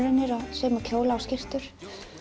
sauma kjóla og skyrtur